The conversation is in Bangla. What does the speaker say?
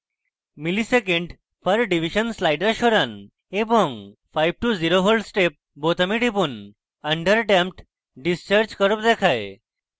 msec/div slider সরান এবং 5> 0v step বোতামে টিপুন under damped discharge curve দেখায়